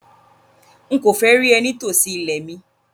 Nkọ fẹ́ rí ẹ̀ ní tó sí ilẹ̀ mi!